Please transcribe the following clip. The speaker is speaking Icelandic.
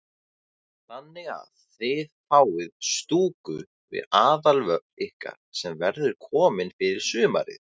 Þannig að þið fáið stúku við aðalvöll ykkar sem verður komin fyrir sumarið?